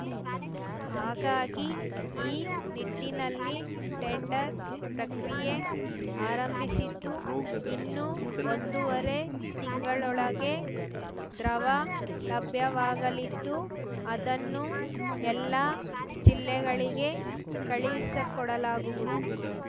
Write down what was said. ಹಾಗಾಗಿ ಈ ನಿಟ್ಟಿನಲ್ಲಿ ಟೆಂಡರ್‌ ಪ್ರಕ್ರಿಯೆ ಆರಂಭಿಸಿದ್ದು ಇನ್ನು ಒಂದೂವರೆ ತಿಂಗಳೊಳಗೆ ದ್ರವ ಲಭ್ಯವಾಗಲಿದ್ದು ಅದನ್ನು ಎಲ್ಲಾ ಜಿಲ್ಲೆಗಳಿಗೆ ಕಳಿಸಿಕೊಡಲಾಗುವುದು